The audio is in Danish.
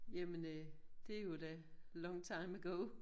Jamen øh det jo da long time ago